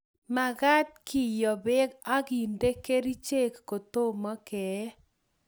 mekat keyoo beek akende kerichek kotomo kee